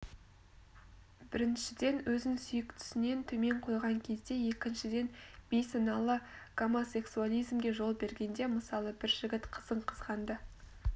біріншіден өзін сүйіктісінен төмен қойған кезде екіншіден бейсаналы гомосексуализмге жол бергенде мысалы бір жігіт қызын қызғанды